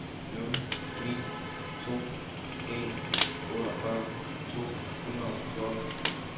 nul ni to en otteogfyrre to hundrede og fjorten